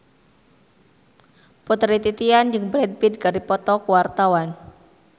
Putri Titian jeung Brad Pitt keur dipoto ku wartawan